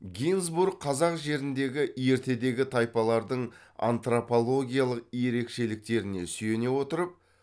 гинзбург қазақ жеріндегі ертедегі тайпалардың антропологиялық ерекшеліктеріне сүйене отырып